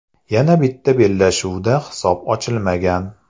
Yana bitta bellashuvda hisob ochilmagan.